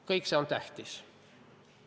Kõik see on tähtis.